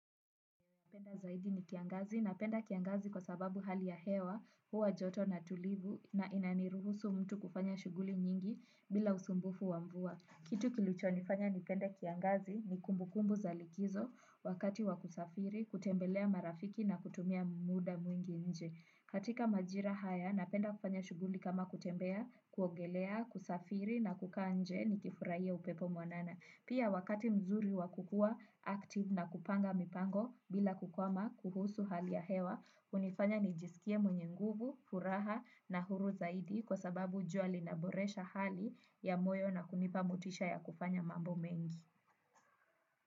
Napenda zaidi ni kiangazi. Napenda kiangazi kwa sababu hali ya hewa huwa joto na tulivu na inaruhusu mtu kufanya kazi bila usumbufu wa mvua. Kitu kilicho nifanya nipende kiangazi ni kumbu kumbu za likizo wakati wa kusafiri kutembelea marafiki na kutumia muda mwingi nje. Katika majira haya napenda kufanya shughuli kama kutembea kuogelea kusafiri na kukaa nje nikifurahia upepo mwanana. Pia wakati mzuri wa kukua active na kupanga mipango bila kukwama kuhusu hali ya hewa, hunifanya nijiskie mwenye nguvu, furaha na huru zaidi kwa sababu jua linaboresha hali ya moyo na kunipa motisha ya kufanya mambo mengi.